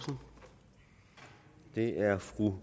det er